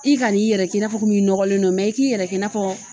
I kani yɛrɛ k'i na fɔ i nɔgɔlen don i k'i yɛrɛ kɛ n'a fɔ